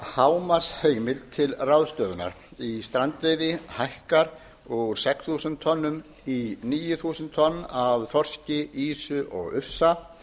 hámarksheimild til ráðstöfunar í strandveiði hækkar úr sex þúsund tonnum í níu þúsund tonn af þorski ýsu og ufsa